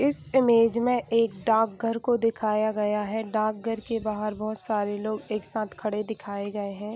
इस इमेज में एक डाक घर को दिखाया गया है डाकघर क बहार बहोत सारे लोग एक साथ खड़े दिखाए गए हैं।